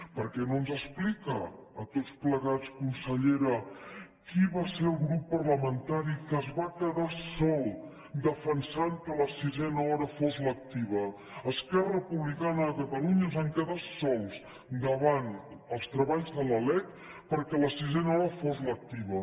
per què no ens explica a tots plegats consellera qui va ser el grup parlamentari que es va quedar sol defensant que la sisena hora fos lectiva esquerra republicana de catalunya ens vam quedar sols davant els treballs de la lec perquè la sisena hora fos lectiva